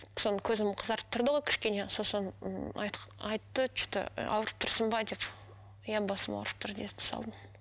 көзім қызарып тұрды ғой кішкене сосын м айтты че то ауырып тұрсың ба деп иә басым ауырып тұр дей салдым